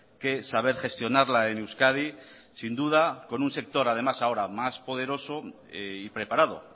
que saber gestionarla en euskadi sin duda con un sector además ahora más poderoso y preparado